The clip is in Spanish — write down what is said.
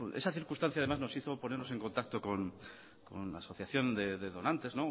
esa circunstancia no nos hizo ponernos en contacto con la asociación de donantes